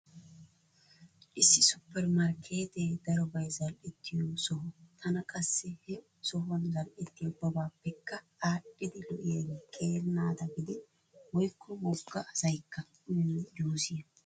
Issi suppermarkkeetee darobay zal"ettiyo soho. Tana qassi he sohwan zal"ettiya ubbabaappekka aadhdhidi lo'iyaage qeeri naata gidin woykko wogga asaykka uyiyo juusiya.